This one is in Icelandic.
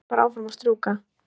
Held bara áfram að strjúka.